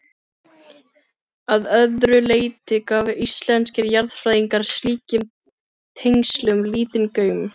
Að öðru leyti gáfu íslenskir jarðfræðingar slíkum tengslum lítinn gaum.